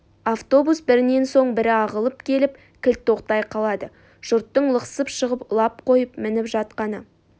автобус бірінен соң бірі ағылып келіп кілт тоқтай қалады жұрттың лықсып шығып лап қойып мініп жатқаны